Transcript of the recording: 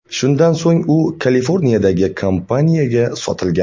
Shundan so‘ng u Kaliforniyadagi kompaniyaga sotilgan.